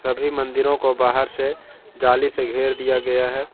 सभी मंदिरों को बाहर से जाली से घेर दिया गया है।